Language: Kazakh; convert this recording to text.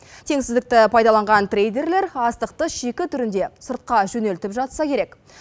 теңсіздікті пайдаланған трейдерлер астықты шикі түрінде сыртқа жөнелтіп жатса керек